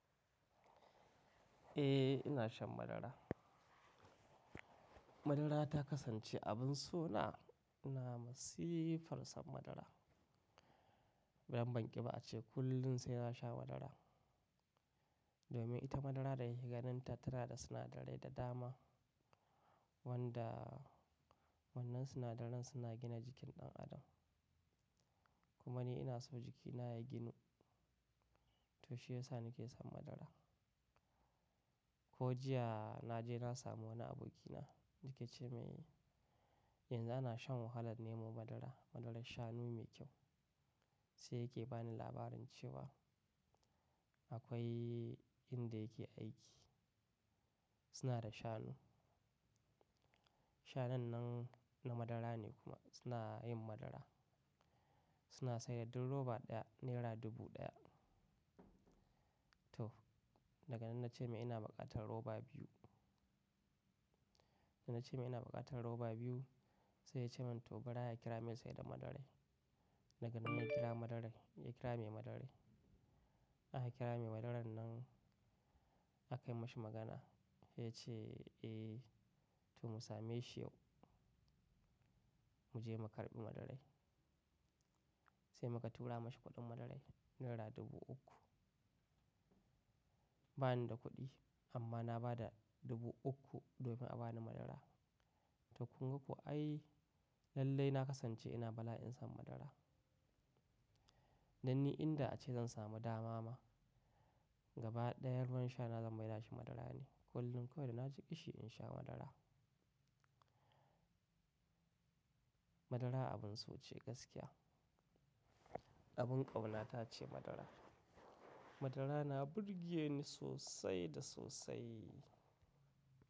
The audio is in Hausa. Eh ina shan madara. Madara ta kasance abin so na, na masifarsan madara. Ban banƙi ba ace kullum sai na sha madara. Domin ita madara da ya yi ganin ta tana da sinadarai da dama wanda wannan sinadaran suna gina jikin ɗan adam. Kuma ni ina so jikina ya ginu to shi ya sa ni ke shan madara. Ko jiya na je na samu wani abokina yake ce mai, yanzu ana shan wahalar nemo madara, madarar shanu mai kyau. Sai yake bani labarin cewa akwai inda yake aiki suna da shanu. Shanun nan na madara ne kuma suna yin madara. Suna sayar da roba ɗaya nera dubu ɗaya. To daga nan na ce mai ina buƙatar roba biyu. Na ce mai ina buƙatar roba biyu sai ya ce min to bari a kira mai sai da madarai. Daga nan mun kira madarai, ya kira mai madarai. An ha kira mai madaran nan aka yi masa magana ya ce eh to mu same shi yau mu je mu karɓi madarai. Sai muka tura mashi kuɗin madarai nera dubu uku. Ba ni da kuɗi amma na ba da dubu uku domin a ba ni madara. To kun ga ko ai lallai na kasance ina bala'in san madara. Dan ni inda ace zan samu dama ma gaba ɗayan ruwan shana zan maida shi madara ne. Kullum kawai da na ji kishi in sha madara. Madara abin so ce gaskiya. Abin ƙaunata ce madara. Madara na burge ni sosai da sosai.